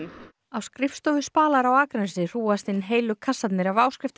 á skrifstofu Spalar á Akranesi hrúgast inn heilu kassarnir af